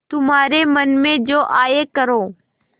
तुम्हारे मन में जो आये करो